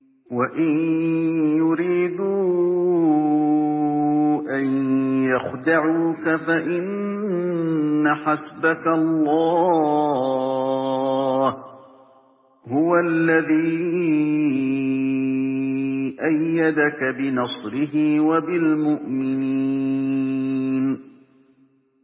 وَإِن يُرِيدُوا أَن يَخْدَعُوكَ فَإِنَّ حَسْبَكَ اللَّهُ ۚ هُوَ الَّذِي أَيَّدَكَ بِنَصْرِهِ وَبِالْمُؤْمِنِينَ